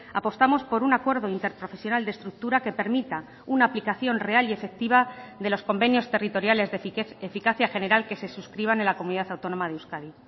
apostamos por un acuerdo interprofesional de estructura que permita una aplicación real y efectiva de los convenios territoriales de eficacia general que se suscriban en la comunidad autónoma de euskadi